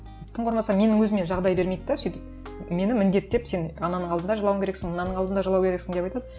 тым құрмаса менің өзіме жағдай бермейді де сөйтіп мені міндеттеп сен ананың алдында жылауың керексің ананың алдында жылау керексің деп айтады